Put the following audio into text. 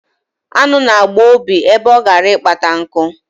Aṅụ na-agba Obi ebe ọ gara ịkpata nku.